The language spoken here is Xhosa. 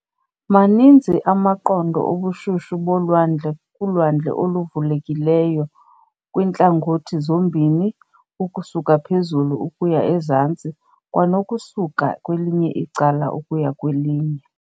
Maninzi amaqondo obushushu bolwandle kulwandle oluvulekileyo, kwintlangothi zombini - ukusuka phezulu ukuya ezantsi, kwanokusuka kwelinye icala ukuya kwelinye.